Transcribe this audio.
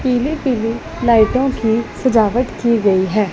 पीले पीले लाइटों की सजावट की गई है।